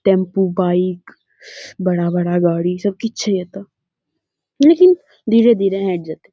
Tempo bike बड़ा-बड़ा गाड़ी सब की छे एतो। लेकिन धीरे धीरे हट जैतै।